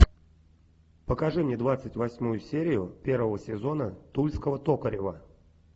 покажи мне двадцать восьмую серию первого сезона тульского токарева